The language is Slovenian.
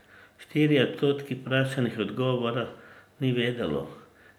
Štirje odstotki vprašanih odgovora ni vedelo.